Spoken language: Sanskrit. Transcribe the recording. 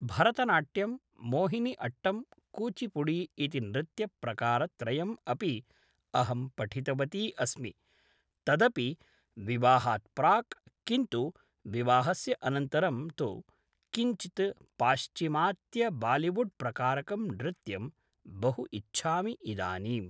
भरतनाट्यं मोहिनी अट्टं कुचिपुडि इति नृत्यप्रकारत्रयम् अपि अहं पठितवती अस्मि तदपि विवाहात् प्राक् किन्तु विवाहस्य अनन्तरं तु किञ्चित् पाश्चिमात्यबालिवुड्प्रकारकं नृत्यं बहु इच्छामि इदानीम्